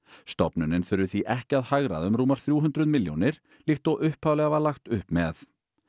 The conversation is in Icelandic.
stofnunin þurfi því ekki að hagræða um rúmar þrjú hundruð milljónir líkt og upphaflega var lagt upp með